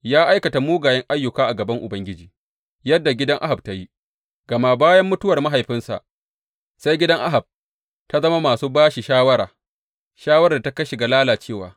Ya aikata mugayen ayyuka a gaban Ubangiji, yadda gidan Ahab ta yi, gama bayan mutuwar mahaifinsa, sai gidan Ahab ta zama masu ba shi shawara, shawarar da ta kai shi ga lalacewa.